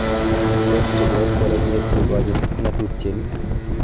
Tos chobot bororiet ko kanyit ng'atutieni?